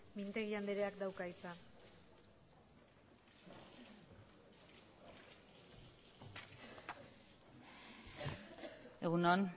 mintegi andreak dauka hitza egun on